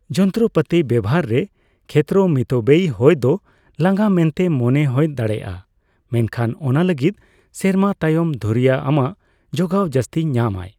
ᱡᱚᱱᱛᱚᱨᱚᱯᱟᱛᱤ ᱵᱮᱣᱦᱟᱨ ᱨᱮ ᱠᱷᱮᱛᱛᱚᱨᱚ ᱢᱤᱛᱵᱮᱭᱤ ᱦᱳᱭ ᱫᱚ ᱞᱟᱸᱜᱟ ᱢᱮᱱᱛᱮ ᱢᱚᱱᱮ ᱦᱳᱭ ᱫᱟᱲᱮᱭᱟᱜᱼᱟ, ᱢᱮᱱᱷᱟᱱ ᱚᱱᱟ ᱞᱟᱹᱜᱤᱫ ᱥᱮᱨᱢᱟ ᱛᱟᱭᱚᱢ ᱫᱷᱩᱨᱭᱟᱹ ᱟᱢᱟᱜ ᱡᱚᱜᱟᱣ ᱡᱟᱹᱥᱛᱤ ᱧᱟᱢ ᱟᱭ ᱾